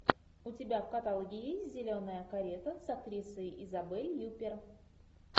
у тебя в каталоге есть зеленая карета с актрисой изабель юппер